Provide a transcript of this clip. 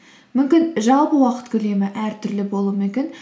мүмкін жалпы уақыт көлемі әртүрлі болуы мүмкін